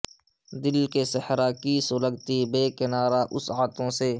دل کے صحرا کی سلگتی بے کنارہ وسعتوں سے